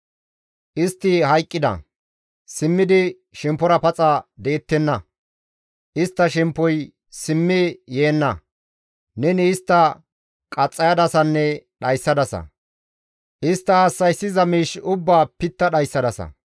Istti hayqqida; simmidi shemppora paxa de7ettenna; istta shemppoy simmi yeenna; neni istta qaxxayadasanne dhayssadasa; istta hassa7issiza miish ubbaa pitta dhayssadasa.